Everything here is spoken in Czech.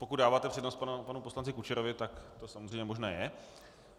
Pokud dáváte přednost panu poslanci Kučerovi, tak to samozřejmě možné je.